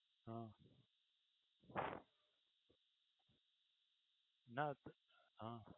હ luck હ